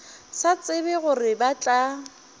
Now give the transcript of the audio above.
sa tsebe gore ba tla